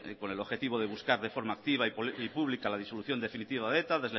con el objetivo de buscar de forma activa y pública la disolución definitiva de eta